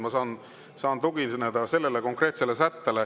Ma saan tugineda sellele konkreetsele sättele.